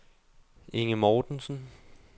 Inge Mortensen